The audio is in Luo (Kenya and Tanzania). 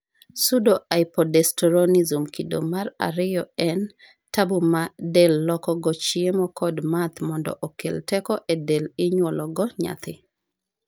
Psuedohypoaldosteronism kido mar ariyo en tabu ma del loko go chiemo kod math mondo okel teko e del inyuologo nyathi